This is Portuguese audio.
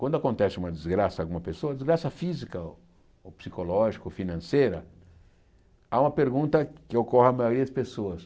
Quando acontece uma desgraça em alguma pessoa, desgraça física ou psicológica ou financeira, há uma pergunta que ocorre à maioria das pessoas.